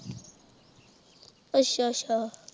ਅੱਛਾ ਅੱਛਾ